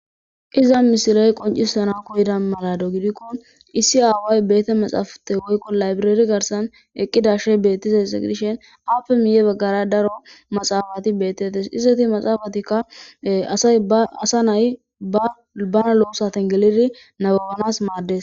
Iza misiley qoncisana koyeda marado gidikko issi aaway beete maxaafate woykko laybreeri garsan eqqidashe bettize se gdishen appe miye baggara daro maxaafati beettetes isteti maxaafatikka asay aasa nay abana lo7osaten gelidi nababanas maaddes.